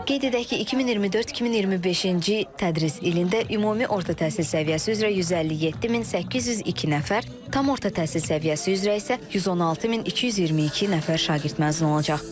Qeyd edək ki, 2024-2025-ci tədris ilində ümumi orta təhsil səviyyəsi üzrə 157802 nəfər, tam orta təhsil səviyyəsi üzrə isə 116222 nəfər şagird məzun olacaq.